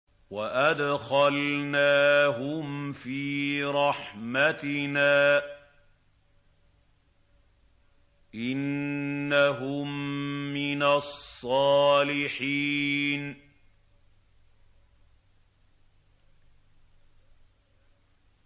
وَأَدْخَلْنَاهُمْ فِي رَحْمَتِنَا ۖ إِنَّهُم مِّنَ الصَّالِحِينَ